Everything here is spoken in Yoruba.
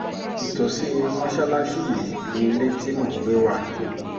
ìtòsí mọ́ṣáláṣí yìí ní ilé tí mò ń gbé wá